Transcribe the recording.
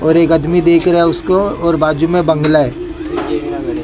और एक अदमी देख रहा है उसको और बाजू में बांग्ला है।